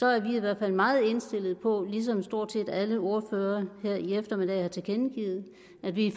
er vi i hvert fald meget indstillet på ligesom stort set alle ordførere her i eftermiddag har tilkendegivet at vi